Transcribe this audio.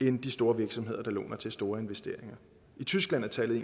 end de store virksomheder der låner til store investeringer i tyskland er tallet